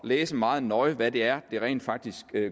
læse meget nøje hvad det er det rent faktisk